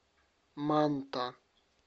манта